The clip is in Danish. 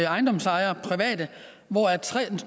ejendomsejere hvoraf